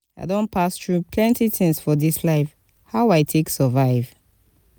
i don pass through plenty tins for dis life how i take survive?